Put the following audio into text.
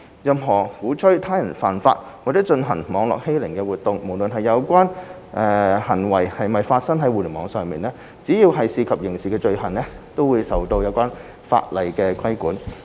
任何鼓吹他人犯法或進行網絡欺凌活動，無論有關行為是否發生在互聯網上，只要涉及刑事罪行，均受有關法例規管。